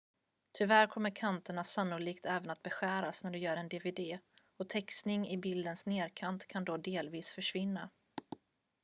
tyvärr kommer kanterna sannolikt även att beskäras när du gör en dvd och textning i bildens nederkant kan då delvis försvinna